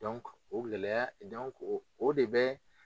o gɛlɛya ? o de bɛ